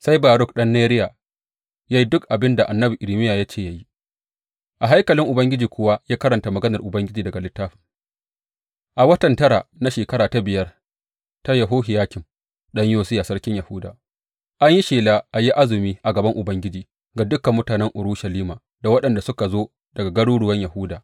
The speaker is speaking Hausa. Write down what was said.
Sai Baruk ɗan Neriya ya yi dukan abin da annabi Irmiya ya ce ya yi; a haikalin Ubangiji kuwa ya karanta maganar Ubangiji daga littafin A watan tara na shekara ta biyar ta Yehohiyakim ɗan Yosiya sarkin Yahuda, an yi shela a yi azumi a gaban Ubangiji ga dukan mutanen Urushalima da waɗanda suka zo daga garuruwan Yahuda.